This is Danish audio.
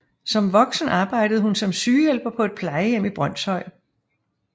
Som voksen arbejdede hun som sygehjælper på et plejehjem i Brønshøj